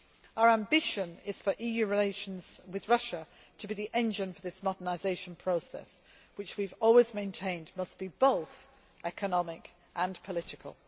Our ambition is for EU relations with Russia to be the engine for this modernisation process, which we have always maintained must be both economic and political.